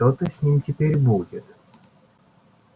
что-то с ним теперь будет